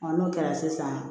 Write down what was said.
n'o kɛra sisan